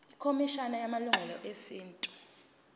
ikhomishana yamalungelo esintu